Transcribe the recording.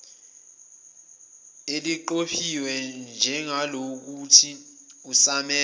eliqophiwe njengelokuthi usamele